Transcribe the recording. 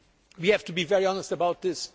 We have to be very honest about this.